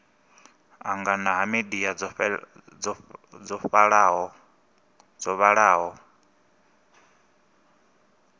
angana ha midia dzo vhalaho